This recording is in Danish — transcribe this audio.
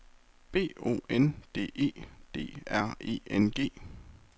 B O N D E D R E N G